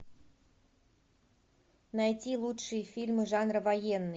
найти лучшие фильмы жанра военный